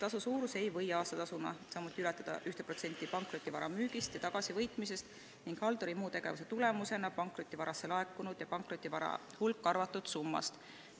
Tasu suurus ei või aastatasuna ületada 1% pankrotivara müügist ja tagasivõitmisest ning halduri muu tegevuse tulemusena pankrotivarasse laekunud ja pankrotivara hulka arvatud summast.